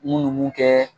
Mun ni mun kɛ